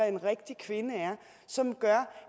en rigtig kvinde er som gør